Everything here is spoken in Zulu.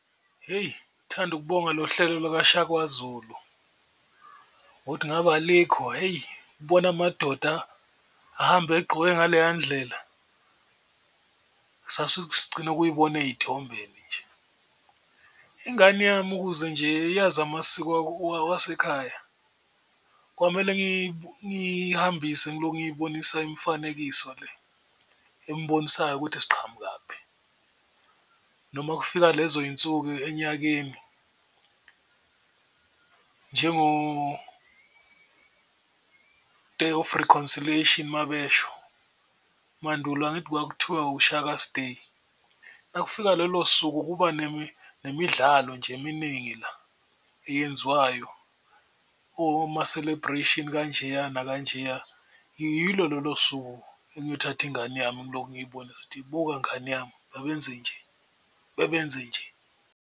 Hheyi ngithanda ukubonga lo hlelo lokuShaka Zulu ngokuthi ngabe alikho hheyi ukubona amadoda ahamba egqoke ngaleya ndlela ukuyibona eyithombeni nje, ingane yami ukuze nje iyazi amasiko wasekhaya kwamele ngiyihambise ngiloku ngiyibonisa imifanekiso le embonisayo ukuthi siqhamukaphi. Noma kufika lezo yinsuku enyakeni njengo-Day of Reconciliation uma besho, umandulo angithi kwakuthiwa uShaka's day, uma kufika lolo suku, kuba nemidlalo nje eminingi la eyenziwayo oma-celebration kanjeya nakanjeya. Yilo lolo suku engiyothatha ingane yami ngiloku ngiyibonisa ukuthi buka ngani yami, babenze nje, babenze nje.